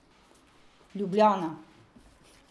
Ljubljana.